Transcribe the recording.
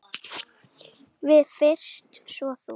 Við fyrst, svo þú.